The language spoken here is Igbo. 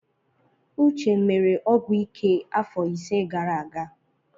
Uche mere ọgwụ ike afọ ise gara aga.